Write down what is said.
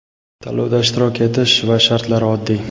Tanlovda ishtirok etish va shartlari oddiy.